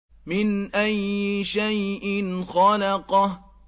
مِنْ أَيِّ شَيْءٍ خَلَقَهُ